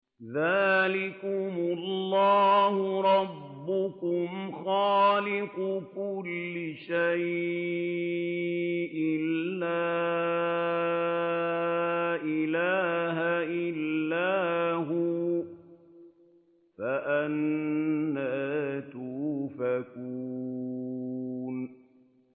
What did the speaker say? ذَٰلِكُمُ اللَّهُ رَبُّكُمْ خَالِقُ كُلِّ شَيْءٍ لَّا إِلَٰهَ إِلَّا هُوَ ۖ فَأَنَّىٰ تُؤْفَكُونَ